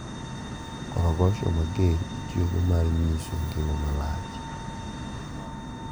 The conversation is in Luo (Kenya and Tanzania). Korogosho mager itiyogodo mar nyiso ngima malach.